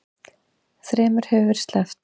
Þremur hefur verið sleppt